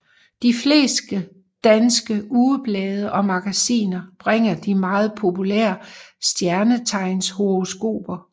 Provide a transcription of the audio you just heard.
De fleste danske ugeblade og magasiner bringer de meget populære stjernetegnshoroskoper